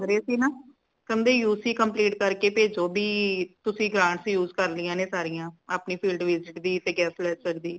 ਸੀ ਨਾ ਕਹਿੰਦੇ U C complete ਕਰ ਕੇ ਭੇਜੋ ਭੀ ਤੁਸੀ grants use ਕਰ ਲਈਆਂ ਨੇ ਸਾਰੀਆਂ ਅਪਣੇ field visit ਦੀ ਤੇ guest lecture ਦੀ